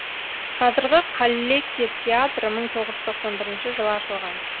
қазіргі қаллеки театры мың тоғыз жүз тоқсан бірінші жылы ашылған